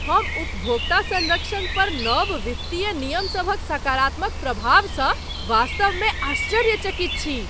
हम उपभोक्ता सँरक्षण पर नव वित्तीय नियमसभक सकारात्मक प्रभावसँ वास्तव मे आश्चर्यचकित छी।